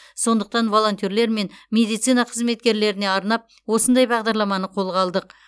сондықтан волонтерлер мен медицина қызметкерлеріне арнап осындай бағдарламаны қолға алдық